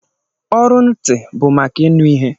Ọrụ ntị bụ maka ịnụ ihe